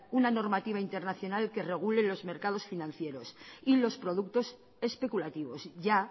una normativa internacional que regule los mercados financieros y los productos especulativos ya